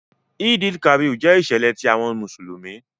Eid-el-Kabir jẹ iṣẹlẹ ti awọn Musulumi.